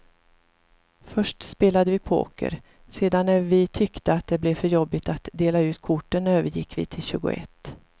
Först spelade vi poker, sedan när vi tyckte att det blev för jobbigt att dela ut korten övergick vi till tjugoett.